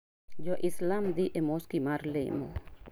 Jo Islam dhi e Moski mar lemo.